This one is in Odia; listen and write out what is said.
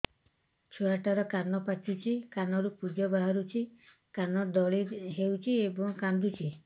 ଛୁଆ ଟା ର କାନ ପାଚୁଛି କାନରୁ ପୂଜ ବାହାରୁଛି କାନ ଦଳି ହେଉଛି ଏବଂ କାନ୍ଦୁଚି